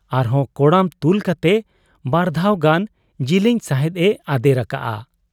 ᱟᱨᱦᱚᱸ ᱠᱚᱲᱟᱢ ᱛᱩᱞ ᱠᱟᱛᱮ ᱵᱟᱨᱫᱷᱟᱣ ᱜᱟᱱ ᱡᱤᱞᱤᱧ ᱥᱟᱦᱮᱸᱫ ᱮ ᱟᱫᱮᱨ ᱟᱠᱟᱜ ᱟ ᱾